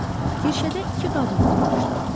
Kirşədə iki qadın oturmuşdu.